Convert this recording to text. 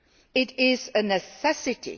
It is a necessity.